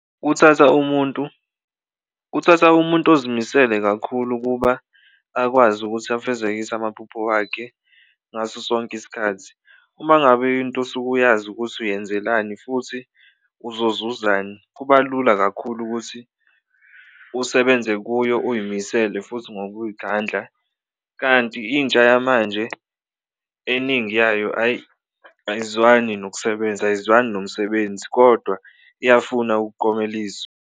Kuthatha umuntu kuthatha umuntu ozimisele kakhulu ukuba akwazi ukuthi afezekise amaphupho wakhe ngaso sonke isikhathi, uma ngabe into osuke uyazi ukuthi uyenzelani futhi uzozuzani kuba lula kakhulu ukuthi usebenze kuyo uy'misele futhi ngokuy'khandla. Kanti intsha yamanje eningi yayo ayi, ayizwani nokusebenza, ayizwani nomsebenzi kodwa iyafuna ukukomeliswa.